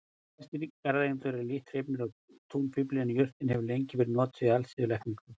Flestir garðeigendur eru lítt hrifnir af túnfífli en jurtin hefur lengi verið notuð í alþýðulækningum.